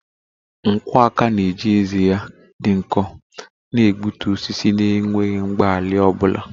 Nkwọ aka na-eji ezé ya dị nkọ na-egbutu osisi na enweghị mgbalị ọ bụla.